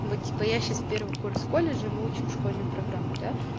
ну типа я сейчас первый курс в колледже мы учим школьную программу да